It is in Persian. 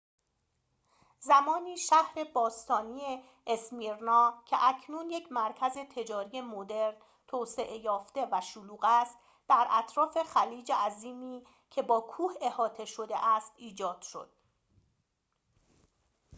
زمانی شهر باستانی اسمیرنا که اکنون یک مرکز تجاری مدرن توسعه یافته و شلوغ است در اطراف خلیج عظیمی که با کوه احاطه شده است ایجاد شد